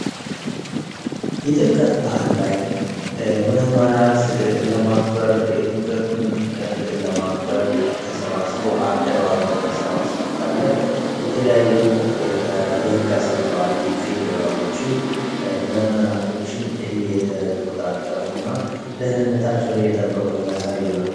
የጥምቀት በዓል ላይ ምእመናት ለማክበር የአመቱን እንትን ለማክበር አደባባይ ላይ ተሰብስቦ ሳለ የተለያዩ የህግ አስከባሪ የፌዴራሎችም ምእመናቶችን እየተቆጣጠሩና ደህንነታቸውን እየጠበቁ የሚያሳይ ነው።